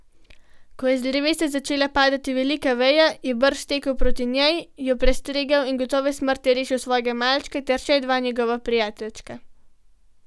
Ko je z drevesa začela padati velika veja, je brž stekel proti njej, jo prestregel in gotove smrti rešil svojega malčka ter še dva njegova prijateljčka.